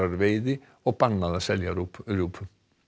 veiði og bannað að selja rjúpu rjúpu